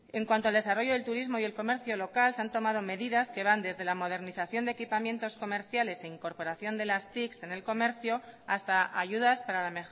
en cuanto al desarrollo del turismo y el comercio local se han tomado medidas que van desde la modernización de equipamientos comerciales e incorporación de las tics en el comercio hasta ayudas para la